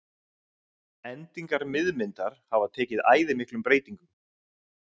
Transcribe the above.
endingar miðmyndar hafa tekið æði miklum breytingum